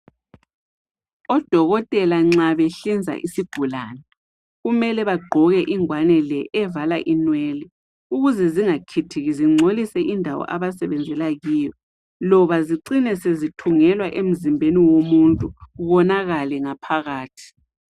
Odokotela nxa benhlinza isigulane, kumele bagqoke ingwane le, evala inwele. Ukuze zingakhithiki, zingcolise indawo le, abasebenzela kuyo. Loba zicine sezithungelwa emzimbeni womuntu. Konakale ngaphakathi.